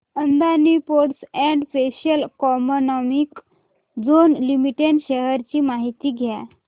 Adani ports and special economic zone limited shares ची माहिती द्या